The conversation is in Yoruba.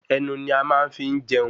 Ẹnu ni a máa ń fi ń jẹun